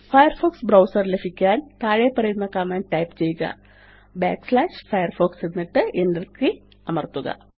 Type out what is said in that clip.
Firefox browser ലഭിക്കാൻ താഴെപ്പറയുന്ന command type ചെയ്യുക firefox എന്നിട്ട് Enter കെയ് അമര്ത്തുക